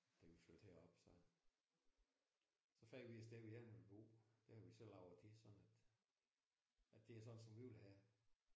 Da vi flyttede herop så så fandt vi et sted vi hellere ville bo. Det har vi så lavet til sådan at at det er sådan som vi vil have